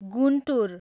Guntur